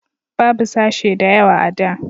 babu sashe da yawa a da